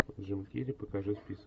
джим керри покажи список